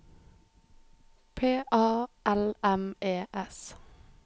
P A L M E S